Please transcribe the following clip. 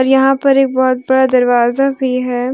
यहां पर एक बहुत बड़ा दरवाजा भी है।